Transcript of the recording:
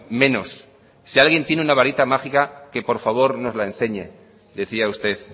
menos si alguien tiene una barita mágica que por favor nos la enseñe decía usted